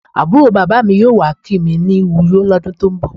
Àbúrò bàbá mi yóò wá kí mi ní Uyo lọ́dún tó ń bọ̀.